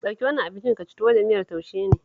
Ɗauki wannan abincin ka ci, tuwo da miyar taushe ne